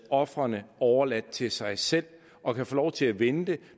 ofrene overladt til sig selv og kan få lov til at vente